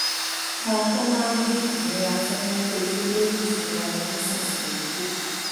kan tó máa dín ìnira tí wọ́n ń kojú lórí ìṣúná wọn nísinsìnyí kù